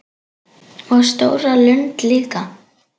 Og stóra lund líka.